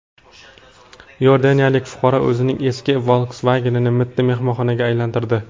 Iordaniyalik fuqaro o‘zining eski Volkswagen’ini mitti mehmonxonaga aylantirdi.